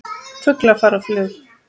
Fuglar fara á flug.